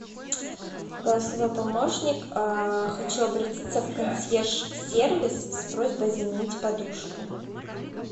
голосовой помощник хочу обратиться в консьерж сервис с просьбой заменить подушку